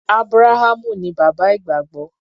Ábúráhámù ní bàbá ìgbàgbọ́.